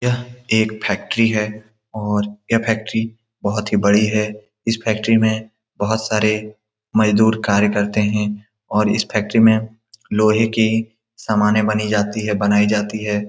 यह एक फैक्टरी है और यह फैक्टरी बहुत ही बड़ी है इस फैक्टरी में बहुत सारे मजदूर कार्य करते हैं और इस फैक्टरी में लोहे की सामानें बनी जाती है बनाई जाती है।